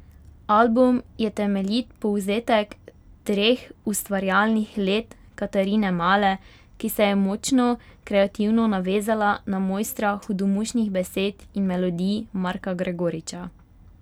Album je temeljit povzetek treh ustvarjalnih let Katarine Male, ki se je močno kreativno navezala na mojstra hudomušnih besed in melodij Marka Gregoriča.